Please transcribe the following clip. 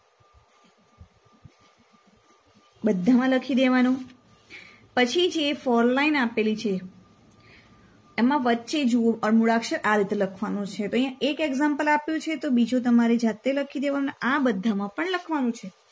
બધામાં લખી દેવાનું પછી જે four line આપેલી છે એમાં વચ્ચે જુઓ અળ મૂળાક્ષર આ રીતે લખવાનો છે. તો અહિયાં એક example આપ્યું છે તો બીજો તમારે જાતે લખી દેવાના